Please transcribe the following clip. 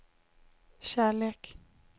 kärlek